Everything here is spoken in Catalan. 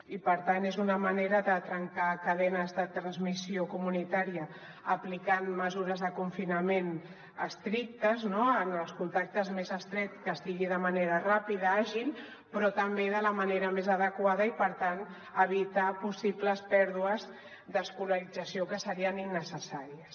i per tant és una manera de trencar cadenes de transmissió comunitària aplicant mesures de confinament estrictes no en els contactes més estrets que sigui de manera ràpida i àgil però també de la manera més adequada i per tant evitar possibles pèrdues d’escolarització que serien innecessàries